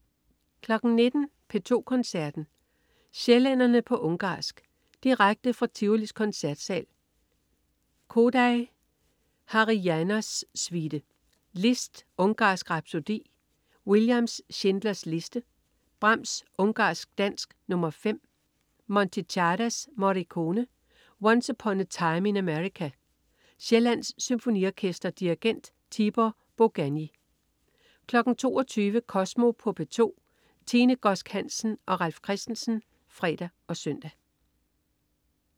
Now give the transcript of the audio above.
19.00 P2 Koncerten. Sjællænderne på ungarsk. Direkte fra Tivolis koncertsal. Kodály: Háry János Suite. Liszt: Ungarsk rhapsodi. Williams: Schindlers liste. Brahms: Ungarsk dans nr. 5. Monti: Czardas. Morricone: Once upon a Time in America. Sjællands Symfoniorkester. Dirigent: Tibor Boganyi 22.00 Kosmo på P2. Tine Godsk Hansen og Ralf Christensen (fre og søn)